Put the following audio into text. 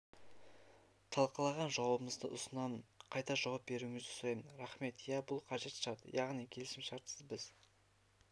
талқылаған жауабымызды ұсынамын қайта жауап беруіңізді сұраймын рахмет иә бұл қажет шарт яғни келісімшартсыз біз